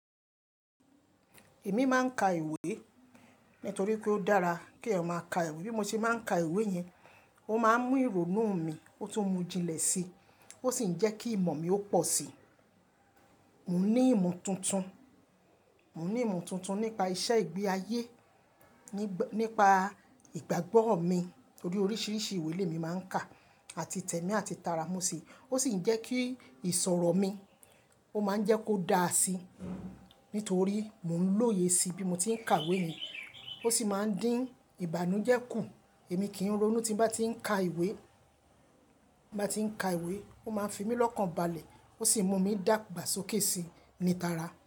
Èmi máa ń ka ìwé nítorí pé ó dára kí eeyan maa ka ìwé. Bí mo ṣe máa ń ka ìwé yẹn, ó máa ń mú ìrònú mi, ó tún mú jinlẹ̀ síi, ó sì ń jẹ́ kí ìmọ̀ mi ó pọ̀ síi. Mò ní ìmọ̀ tuntun, mò ní ìmọ̀ tuntun nípa iṣẹ́ ìgbé ayé, nípa ìgbàgbọ́ mi torí oríṣiríṣi ìwé le mi máa ń kà àti tẹ̀mí àti tara mo si Ó sì ń jẹ́ kí ìṣòro mi, ó máa ń jẹ́ kó dáa síi nítorí mò ń lóye síi bí mo tí ń kàwé yẹn. Ó sì máa ń dín ìbànújẹ́ kù. Èmi kì í ronú tí mo bá tí ń ka ìwé, tí mo bá tí ń ka ìwé, ó máa ń fi mí lọ́kànbalẹ̀, ó sì mú mi dàgbà sókè síí ní tara.